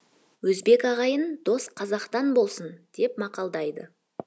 өзбек ағайын дос қазақтан болсын деп мақалдайды